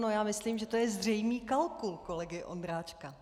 No, já myslím, že to je zřejmý kalkul kolegy Ondráčka.